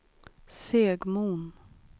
Segmon